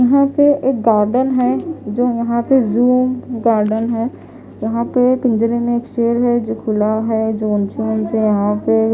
यहां पे एक गार्डन है जो यहां पे जूम गार्डन है यहां पे पिंजरे में एक शेर है जो खुला है जो उनसे यहां पे--